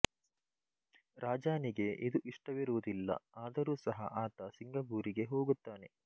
ರಾಜಾನಿಗೆ ಇದು ಇಷ್ಟವಿರುವುದಿಲ್ಲ ಆದರೂ ಸಹ ಆತ ಸಿಂಗಪೂರಿಗೆ ಹೋಗುತ್ತಾನೆ